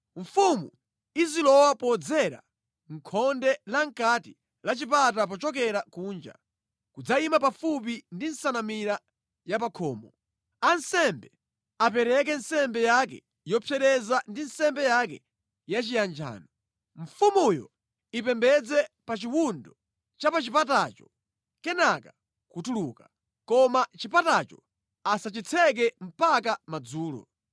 Mfumu izilowa podzera mʼkhonde la mʼkati la chipata pochokera kunja, nʼkudzayima pafupi ndi nsanamira yapakhomo. Ansembe apereke nsembe yake yopsereza ndi nsembe yake yachiyanjano. Mfumuyo ipembedze pa chiwundo cha pa chipatacho kenaka nʼkutuluka. Koma chipatacho asachitseke mpaka madzulo.